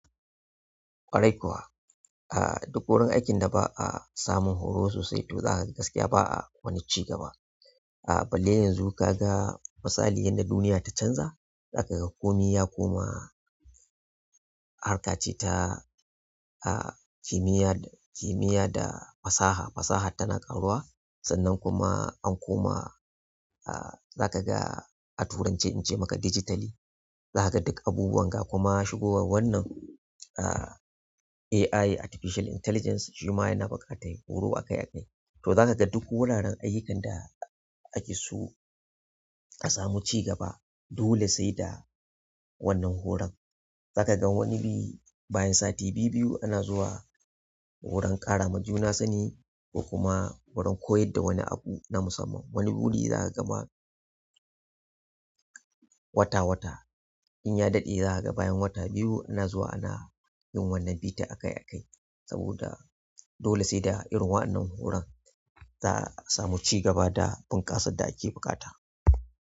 Ƙwarai kuwa. A duk wurin aikin da ba a samun horo sosai to zaka ga gaskiya ba a wani cigaba. A balle yanzu ka ga misalin yadda duniya ta canza, za ka ga komai ya koma harkace ta kimiyya da fasaha, fasahar tana ƙaruwa sannan kuma an koma zakaga a turance ince maka digitally. Za ka ga duk abubuwan ga kuma shigowar wannan a AI Artificial Intelligence shima yana buƙatar horo akai akai. To za ka ga duk wuraren ayyukan da ake so a samu cigaba dole sai da wannan horon. Za ka ga wani bi bayan sati bibbiyu ana zuwa wurin karama juna sani ko wurin koyarda wani abu na musamman wani wuri ma zaka ga wata-wata idan ya daɗe zaka ga bayan wata biyu ana zuwa ana yin wannan bita akai-akai saboda dole sai da irin waɗannan horon za a sami ci gaba da bunkasar da ake buƙata.